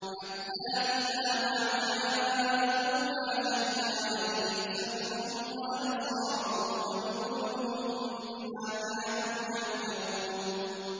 حَتَّىٰ إِذَا مَا جَاءُوهَا شَهِدَ عَلَيْهِمْ سَمْعُهُمْ وَأَبْصَارُهُمْ وَجُلُودُهُم بِمَا كَانُوا يَعْمَلُونَ